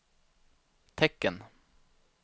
tecken